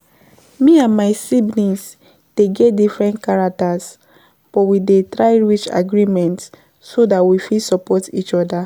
Me and my my siblings dey get different character, but we dey try reach agreement so dat we fit support each other.